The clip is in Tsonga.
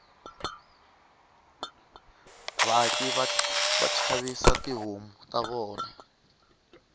vaaki vashavisa tihhomu tavona